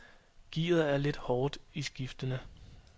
Gearet er lidt hårdt i skiftene.